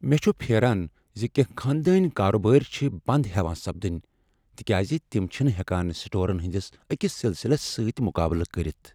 مےٚ چھ پھیران ز کیٚنہہ خاندٲنۍ کاربارچھِ بند ہیوان سپدٕنۍ تکیاز تم چھنہٕ ہیکان سٹورن ہنٛدس أکس سلسلس سۭتۍ مقابلہٕ کٔرتھ۔